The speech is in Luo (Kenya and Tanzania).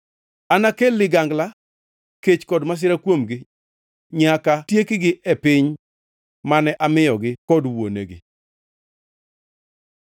Anakel ligangla, kech kod masira kuomgi nyaka tiekgi e piny mane amiyogi kod wuonegi.’ ”